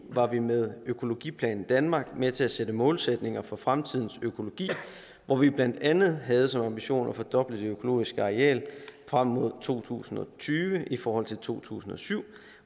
var vi med økologiplan danmark med til at sætte målsætninger for fremtidens økologi hvor vi blandt andet havde som ambition at fordoble det økologiske areal frem mod to tusind og tyve i forhold til to tusind og syv